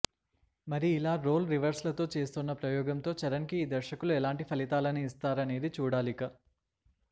మరి ఇలా రోల్ రివర్సల్తో చేస్తోన్న ప్రయోగంతో చరణ్కి ఈ దర్శకులు ఎలాంటి ఫలితాలని ఇస్తారనేది చూడాలిక